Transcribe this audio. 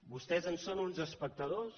vostès en són uns espectadors